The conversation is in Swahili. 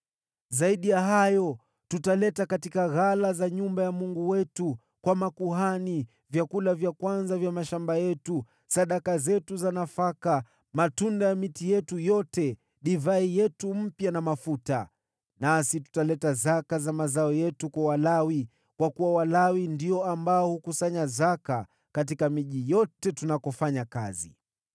“Zaidi ya hayo, tutaleta katika ghala za nyumba ya Mungu wetu, kwa makuhani, vyakula vya kwanza vya mashamba yetu, sadaka zetu za nafaka, matunda ya miti yetu yote, divai yetu mpya na mafuta. Nasi tutaleta zaka za mazao yetu kwa Walawi, kwa kuwa Walawi ndio ambao hukusanya zaka katika miji yote tunakofanya kazi.